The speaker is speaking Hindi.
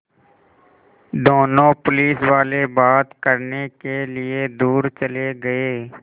दोनों पुलिसवाले बात करने के लिए दूर चले गए